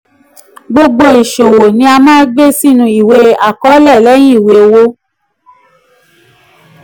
gbogbo um iṣowo ni a maa gbe sinu iwe akọọlẹ lẹyin iwe owo.